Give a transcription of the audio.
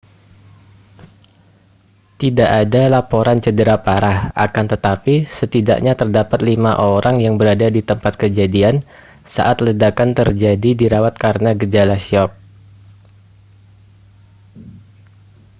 tidak ada laporan cedera parah akan tetapi setidaknya terdapat lima orang yang berada di tempat kejadian saat ledakan terjadi dirawat karena gejala syok